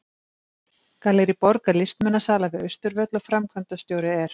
Gallerí Borg er listmunasala við Austurvöll og framkvæmdastjóri er